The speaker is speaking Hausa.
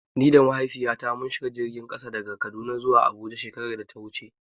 Ni da Mahaifiyata mun shiga jirgin ƙasa daga Kaduna zuwa Abuja shekarar da ta wuce.